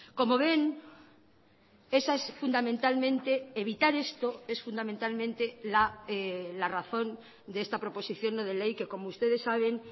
como ven esa es fundamentalmente evitar esto es fundamentalmente la razón de esta proposición no de ley que como ustedes saben